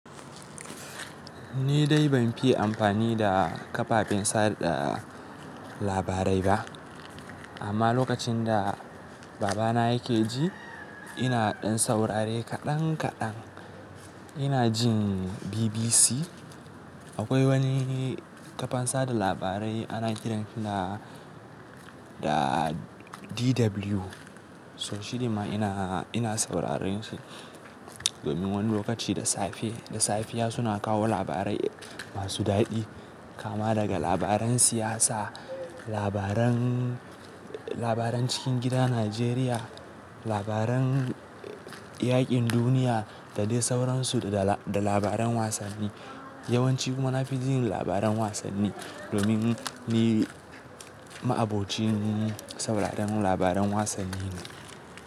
Ni dai ban fiya amfani da kafafen sada labarai ba. Amma lokacin da baba na yake ji, ina ɗan saurare kaɗan kaɗan. Ina jin BBC. Akwai wani kafan sada labarai ana kiransa da DW. So shi dinma ina, ina saurarin shi. Domin wani lokaci da safe, da safiya suna kawo labarai masu daɗi. Kama daga labaran siyasa, labaran, labaran cikin gida Najeriya, labaran yaƙin duniya da dai sauransu da labaran wasanni. Yawanci kuma na fi jin labaran wasanni. Domin ni ma'abocin sauraron labaran wasanni ne.